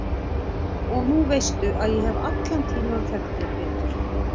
Og nú veistu að ég hef allan tímann þekkt þig Pétur.